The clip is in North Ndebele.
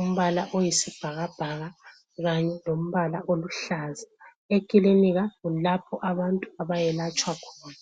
Umbala oyisibhakabhaka kanye lombala oluhlaza. Ekilinika kulapho abantu abayelatshwa khona.